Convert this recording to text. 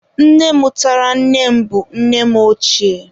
Nne mụtara nne m bụ nne m ochie